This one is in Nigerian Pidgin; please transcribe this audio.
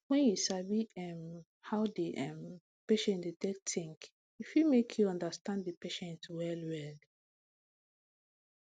wen you sabi um how d um patient dey take think e fit make you understand the patients well well